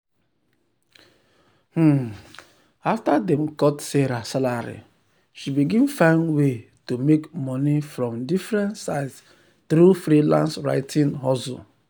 um after dem cut sarah salary she begin find way to um make money from different sides through freelance writing hustle.